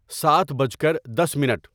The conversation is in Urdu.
سات بج کر دس منٹ